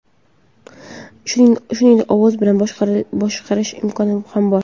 Shuningdek, ovoz bilan boshqarish imkoni ham bor.